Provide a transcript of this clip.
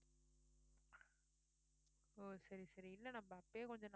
ஓ சரி சரி இல்ல நம்ம அப்பயே கொஞ்சம்